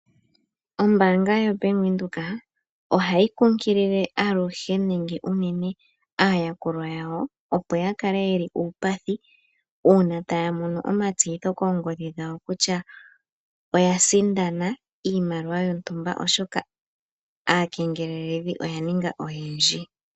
Ombaanga yo Bank Windhoek ohayi kunkilile aluhe nenge unene aayakulwa yawo opo yakale yeli uupathi uuna taamono omatseyitho kongodhi dhawo kutya oya sindana iimaliwa oshoka aakengeleledhi oya ninga oyendji.